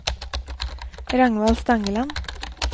Ragnvald Stangeland